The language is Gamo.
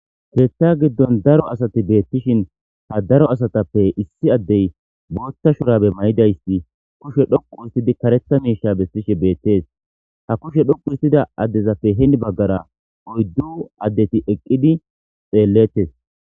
Keeththa giddon daro asati beettishin ha daro asatappe issi addey boothta shurabe may7idayssi kushe dhoqu istidi karetha miisha bestishe beettees ha kushe dhoqu istida addezappe heni baggara oyddu addeti eqqidi xeellettes.